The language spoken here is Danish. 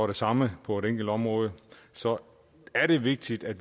det samme på et enkelt område så er det vigtigt at